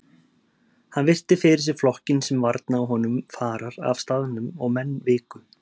Hann virti fyrir sér flokkinn sem varnaði honum farar af staðnum og menn viku.